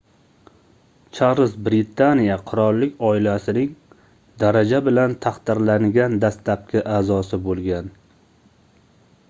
charlz britaniya qirollik oilasining daraja bilan taqdirlangan dastlabki aʼzosi boʻlgan